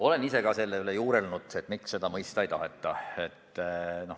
Olen ka ise selle üle juurelnud, miks seda mõista ei taheta.